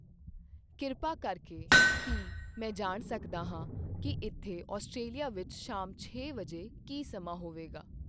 ਕਿਰਪਾ ਕਰਕੇ ਕੀ ਮੈਂ ਜਾਣ ਸਕਦਾ ਹਾਂ ਕੀ ਇੱਥੇ ਆਸਟ੍ਰੇਲੀਆ ਵਿਚ ਸ਼ਾਮ ਛੇ ਵਜੇ ਕੀ ਸਮਾਂ ਹੋਵੇਗਾ?